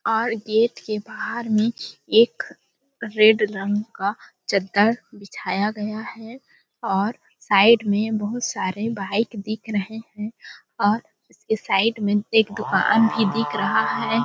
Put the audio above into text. और गेट के बाहर में एक रेड रंग का चद्दर बिछाया गया है और साइड में बहुत सारे बाइक दिख रहे है और उसके साइड एक दुकान भी दिख रहा है। .